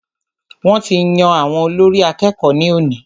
Wọ́n ti yan àwọn olórí àkẹ́kọ̀ọ ní òní.